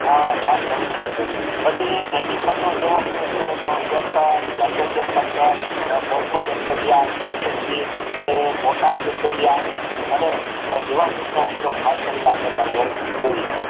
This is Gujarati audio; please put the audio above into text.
આ ખાસ જરૂરી છે જરૂરી છે પછી જેવીકે રીઝોબીયમ ક્લચr R phospho bacteria CSD bacteria અને ઉપયોગ ખાસ કરીને આપણે કરવું જોઈએ